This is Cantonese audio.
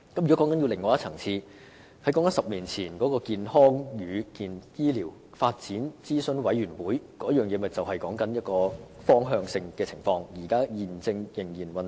如果談到另一層次，於10年前成立的健康與醫療發展諮詢委員會已是一個方向性的架構，現時亦仍在運作中。